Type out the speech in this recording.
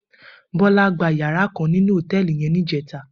Bola gbá iyàrá kán ninú hótèlí yèn nijètá